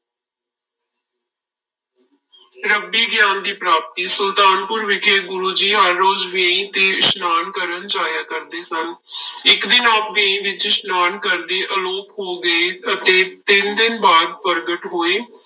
ਰੱਬੀ ਗਿਆਨ ਦੀ ਪ੍ਰਾਪਤੀ, ਸੁਲਤਾਨਪੁਰ ਵਿਖੇ ਗੁਰੂ ਜੀ ਹਰ ਰੋਜ਼ ਵੇਈ ਤੇ ਇਸ਼ਨਾਨ ਕਰਨ ਜਾਇਆ ਕਰਦੇ ਸਨ ਇੱਕ ਦਿਨ ਆਪ ਵੇਈ ਵਿੱਚ ਇਸ਼ਨਾਨ ਕਰਦੇ ਆਲੋਪ ਹੋ ਗਏ ਅਤੇ ਤਿੰਨ ਦਿਨ ਬਾਅਦ ਪ੍ਰਗਟ ਹੋਏ।